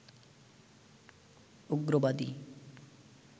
উগ্রবাদী